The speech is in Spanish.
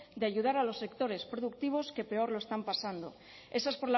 de ayudar a los sectores productivos que peor lo están pasando esa es